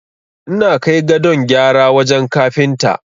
Ina kai gadon gyara wajen Kafinta.